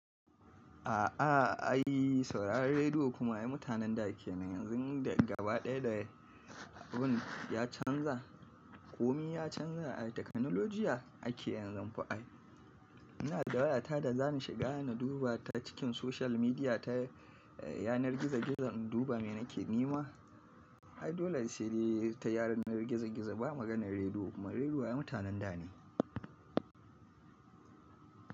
A'a ai sauraron rediyo kuma ai mutanen da kenan yanzu daga gaba ɗaya da abun ya canza, kome ya canza ai takanuljiya ake yanzu fa ai. Ina da wayaata da za ni shiga na duba ta cikin social media ta yanar gizo-gizo in duba me nake nema. Ai dole in shirye ta yanar gizo-gizo ba maganar rediyo kuma rediyo mutanen da ne.